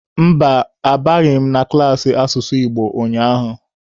Mba, abịaghị m klaasị asụsụ Igbo ụnyaahụ.